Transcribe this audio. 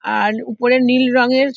আর উপরে নীল রঙের --